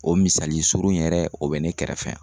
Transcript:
O misali surun yɛrɛ o bɛ ne kɛrɛfɛ yan.